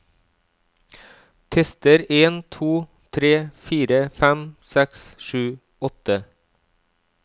Tester en to tre fire fem seks sju åtte